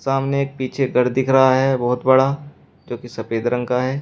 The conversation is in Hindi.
सामने एक पीछे घर दिख रहा है बहुत बड़ा जो की सफेद रंग का है।